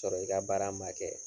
Sɔrɔ i ka baara man kɛ.